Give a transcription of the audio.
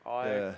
Aeg!